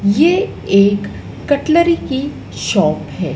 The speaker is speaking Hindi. ये एक कटलरी की शॉप है।